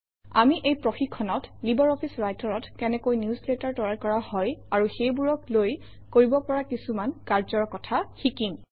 আমি এই প্ৰশিক্ষণত লাইব্ৰঅফিছ Writer অত কেনেকৈ নিউজলেটাৰ তৈয়াৰ কৰা হয় আৰু সেইবোৰক লৈ কৰিব পৰা কিছুমান কাৰ্যৰ কথা শিকিম